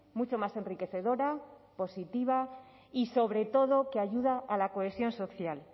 mucho más enriquecedora positiva y sobre todo que ayuda a la cohesión social